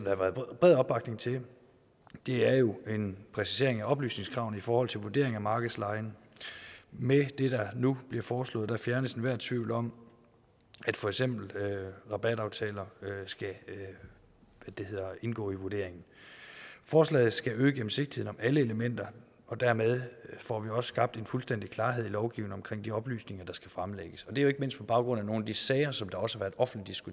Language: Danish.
har været bred opbakning til er jo en præcisering af oplysningskravene i forhold til vurdering af markedslejen med det der nu bliver foreslået fjernes enhver tvivl om at for eksempel rabataftaler skal indgå i vurderingen forslaget skal øge gennemsigtigheden om alle elementer og dermed får vi også skabt fuldstændig klarhed i lovgivningen om de oplysninger der skal fremlægges og det er jo ikke mindst på baggrund af nogle af de sager som også blev offentligt